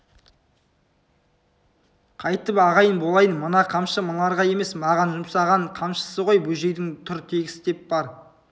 қайтып ағайын болайын мына қамшы мыналарға емес маған жұмсаған қамшысы ғой бөжейдің тұр тегіс деп бар